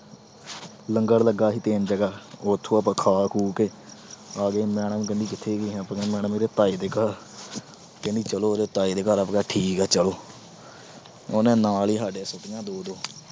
ਲੰਗਰ ਲੱਗਾ ਸੀ ਤਿੰਨ ਜਗ੍ਹਾ। ਉੱਥੋਂ ਆਪਾ ਖਾ-ਖੂ ਕੇ ਆਗੇ। madam ਕਹਿੰਦੀ ਕਿੱਥੇ ਗਿਆ, ਆਪਾ ਕਿਹਾ ਇਹਦੇ ਤਾਏ ਦੇ ਘਰ। ਕਹਿੰਦੀ ਚਲੋ ਇਹਦੇ ਤਾਏ ਦੇ ਘਰ। ਆਪਾ ਕਿਹਾ ਠੀਕ ਆ ਚਲੋ। ਹੁਣ ਨਾਲ ਈ ਸਾਡੇ ਸੁੱਟੀਆਂ ਦੋ-ਦੋ।